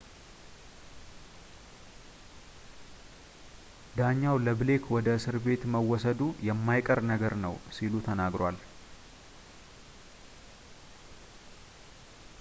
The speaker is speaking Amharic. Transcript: ዳኛው ለብሌክ ወደ እስር ቤት መወሰዱ የማይቀር ነገር ነው ሲል ተናግሮታል